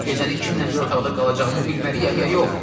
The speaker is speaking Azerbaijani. Gecəni kimlə bir otaqda qalacağımı bilməliyəm ya yox?